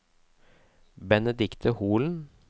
Benedicte Holen